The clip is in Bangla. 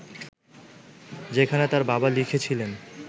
যেখানে তার বাবা লিখেছিলেন